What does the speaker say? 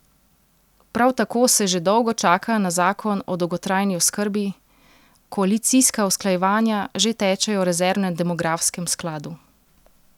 Prav tako se že dolgo čaka na zakon o dolgotrajni oskrbi, koalicijska usklajevanja že tečejo o rezervnem demografskem skladu.